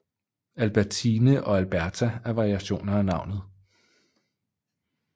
Albertine og Alberta er variationer af navnet